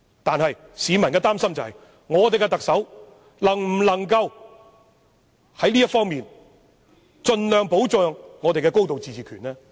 但是，市民感到擔憂的是，現任特首能否在這方面盡量保障我們的高度自治權呢？